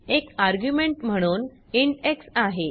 एक आर्ग्युमेंट म्हणून int x आहे